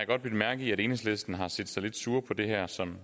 godt bidt mærke i at enhedslisten har set sig lidt sure på det her som